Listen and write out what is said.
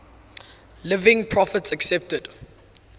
living prophets accepted